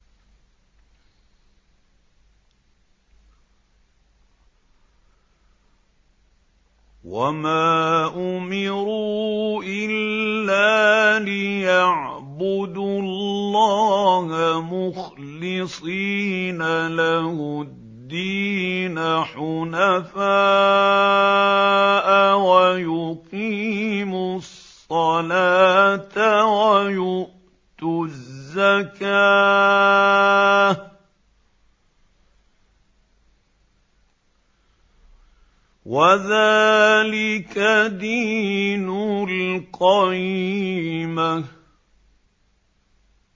وَمَا أُمِرُوا إِلَّا لِيَعْبُدُوا اللَّهَ مُخْلِصِينَ لَهُ الدِّينَ حُنَفَاءَ وَيُقِيمُوا الصَّلَاةَ وَيُؤْتُوا الزَّكَاةَ ۚ وَذَٰلِكَ دِينُ الْقَيِّمَةِ